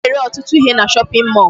A na-ere ọtụtụ ihe na shopping mall